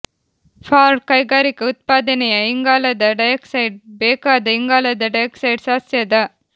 for ಕೈಗಾರಿಕಾ ಉತ್ಪಾದನೆಯ ಇಂಗಾಲದ ಡೈಆಕ್ಸೈಡ್ ಬೇಕಾದ ಇಂಗಾಲದ ಡೈಆಕ್ಸೈಡ್ ಸಸ್ಯದ